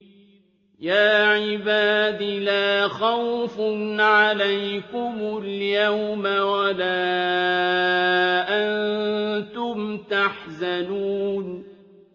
يَا عِبَادِ لَا خَوْفٌ عَلَيْكُمُ الْيَوْمَ وَلَا أَنتُمْ تَحْزَنُونَ